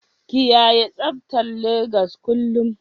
kiyaye tsabtar Legas kullum